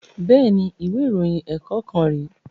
Bẹ́ẹ̀ni, ìwé ìròyìn ẹ̀kọ́ kan rè